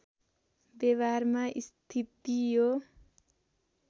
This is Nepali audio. व्यवहारमा स्थिति यो